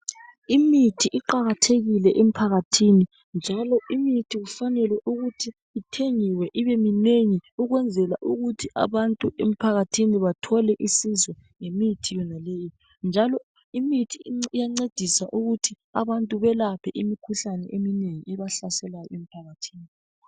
Imithi iqakathekile emphakathini njalo imithi kufanele ukuthi ithengiwe ibe minengi, ukwenzela ukuthi abantu emphakathini bathole usizo ngemithi yonaleyo, njalo imithi iyancedisa ukuthi abantu belaphe imikhuhlane emnengi ebahlaselayo emphakathini.